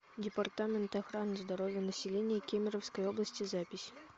департамент охраны здоровья населения кемеровской области запись